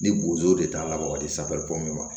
Ni bozo de t'a la wa ka di ma